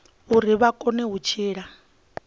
uri vha kone u tshila